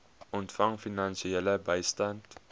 ontvang finansiële bystand